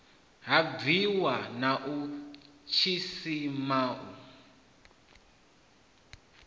ha bwiwa na tshisima u